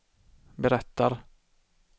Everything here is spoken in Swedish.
berättar